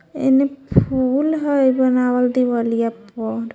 एने फुल हई बनावल देवलिया पर।